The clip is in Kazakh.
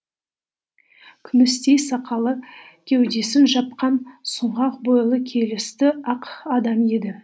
күмістей сақалы кеудесін жапқан сұңғақ бойлы келісті ақ адам еді